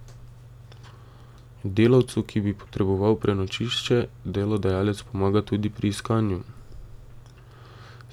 Delavcu, ki bi potreboval prenočišče, delodajalec pomaga tudi pri iskanju.